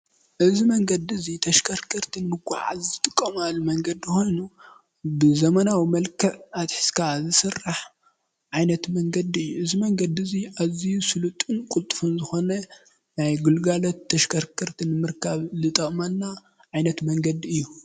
እዚ መንገዲ እዙይ ተሽከርከርቲ ንምጉዓዓዝ ዝጥቀምሉ መንገዲ ኮይኑ ብዘመናዊ መልክዕ ኣትሒዝካ ዝስራሕ ዓይነት መንገዲ እዩ፣ እዚ መንገዲ እዙይ ኣዝዩ ስሉጥን ቅልጥፉን ዝኮነ ናይ ግልጋሎት ተሽከርከርቲ ንምርካብ ዝጠቅመና ዓይነት መንገዲ እዩ።